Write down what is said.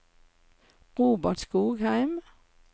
Robert Skogheim